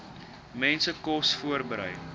mense kos voorberei